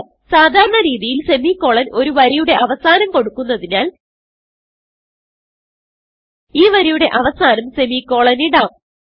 സാധാരണ രീതിയിൽ സെമിക്കോളൻ ഒരു വരിയുടെ അവസാനം കൊടുക്കുന്നതിനാൽ ഈ വരിയുടെ അവസാനം സെമിക്കോളൻ ഇടാം